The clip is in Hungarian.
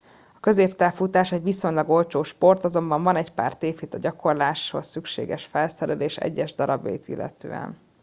a középtávfutás egy viszonylag olcsó sport azonban van egy pár tévhit a gyakolrásáshoz szükséges felszerelés egyes darabjait illetően